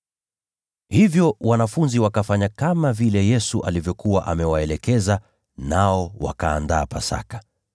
Hivyo wanafunzi wakafanya kama vile Yesu alivyokuwa amewaelekeza, nao wakaandaa Pasaka.